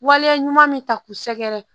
Waleya ɲuman min ta k'u sɛgɛrɛ